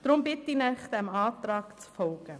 Deshalb bitte ich Sie, dem Antrag zu folgen.